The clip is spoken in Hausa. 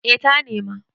eh ta nema